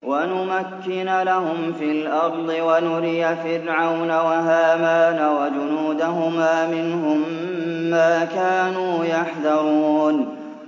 وَنُمَكِّنَ لَهُمْ فِي الْأَرْضِ وَنُرِيَ فِرْعَوْنَ وَهَامَانَ وَجُنُودَهُمَا مِنْهُم مَّا كَانُوا يَحْذَرُونَ